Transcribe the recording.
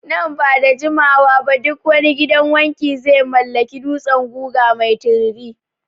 Nan ba da jimawa ba duk wani gidan wanki Ze mallaki dutsen guga mai tiriri